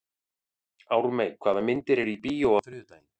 Ármey, hvaða myndir eru í bíó á þriðjudaginn?